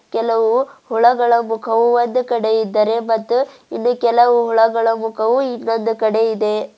ಕೆಲವು ಹುಳಗಳ ಮುಖವು ಒಂದು ಕಡೆ ಇದ್ದರೆ ಮತ್ತು ಇನ್ನು ಕೆಲವು ಹುಳಗಳ ಮುಖವು ಇನ್ನೊಂದು ಕಡೆ ಇದೆ.